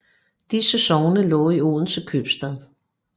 Disse sogne lå i Odense Købstad